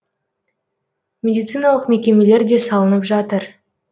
медициналық мекемелер де салынып жатыр